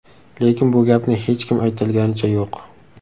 Lekin bu gapni hech kim aytolganicha yo‘q.